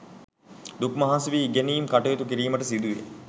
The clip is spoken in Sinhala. දුක් මහන්සි වී ඉගෙනීම් කටයුතු කිරීමට සිදුවේ.